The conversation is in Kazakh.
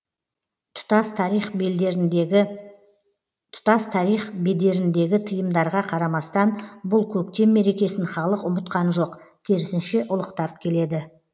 тұтас тарих бедеріндегі тыйымдарға қарамастан бұл көктем мерекесін халық ұмытқан жоқ керісінше ұлықтап келеді